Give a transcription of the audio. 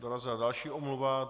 Dorazila další omluva.